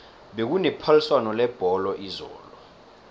bekune phaliswano lebholo izolo